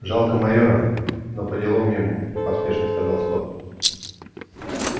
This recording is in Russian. жалко майора но поделом ему поспешно сказал скотт